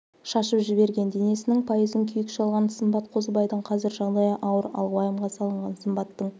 шашып жіберген денесінің пайызын күйік шалған сымбат қозыбайдың қазір жағдайы ауыр ал уайымға салынған сымбаттың